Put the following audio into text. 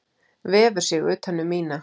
Vefur sig utan um mína.